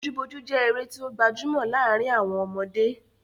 Bojúbojú jẹ́ eré tí ó gbajúmọ̀ láàrin àwọn ọmọdé.